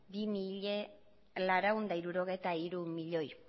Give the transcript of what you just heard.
bi mila laurehun eta hirurogeita hiru milioi